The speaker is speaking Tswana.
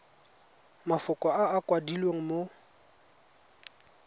mafoko a a kwadilweng mo